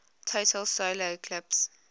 total solar eclipse